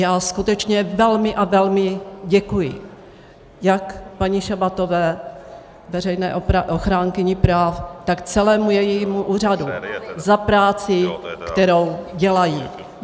Já skutečně velmi a velmi děkuji jak paní Šabatové, veřejné ochránkyni práv, tak celému jejímu úřadu za práci, kterou dělají.